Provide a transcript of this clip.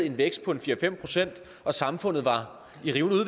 en vækst på fire fem procent og samfundet var